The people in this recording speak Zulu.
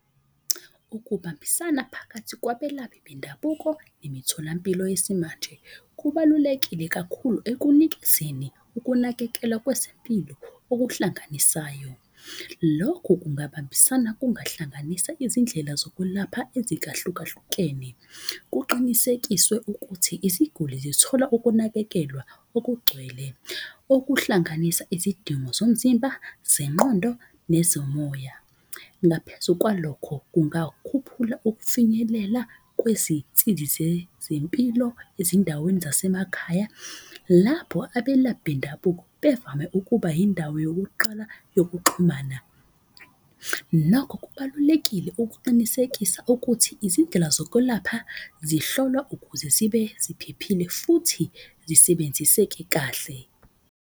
Ukubambisana phakathi kwabelaphi bendabuko nemitholampilo yesimanje. Kubalulekile kakhulu ekunikezeni ukunakekelwa kwezempilo okuhlanganisayo. Lokhu kungabambisana kungahlanganisa izindlela zokulapha ezikahlukahlukene. Kuqinisekiswe ukuthi iziguli zithola ukunakekelwa okugcwele. Okuhlanganisa izidingo zomzimba zenqondo, nezomoya. Ngaphezu kwalokho, kungakhuphula ukufinyelela kwezinsizi zempilo ezindaweni zasemakhaya. Lapho abelaphi bendabuko bevame ukuba yindawo yokuqala yokuxhumana. Nokho kubalulekile ukuqinisekisa ukuthi izindlela zokulapha zihlolwa ukuze zibe ziphephile futhi zisebenziseke kahle.